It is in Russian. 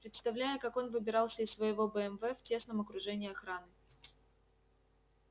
представляю как он выбирался из своего бмв в тесном окружении охраны